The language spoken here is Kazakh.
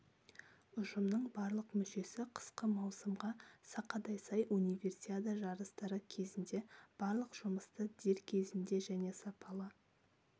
ұжымның барлық мүшесі қысқы маусымға сақадай сай универсиада жарыстары кезінде барлық жұмысты дер кезінде және сапалы